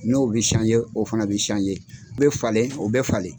N'o bɛ o fana bɛ bɛ falen o bɛ falen.